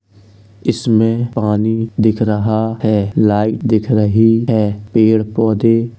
इसमें पानी दिख रहा है लाइट दिख रही है। पेड़-पौधे --